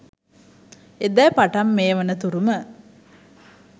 එදා පටන් මේ වන තුරුම